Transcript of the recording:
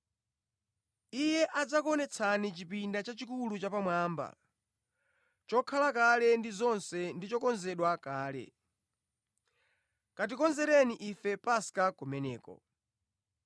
Iye adzakuonetsani chipinda chachikulu chapamwamba, chokhala kale ndi zonse ndi chokonzedwa kale. Katikonzereni ife Paska kumeneko.”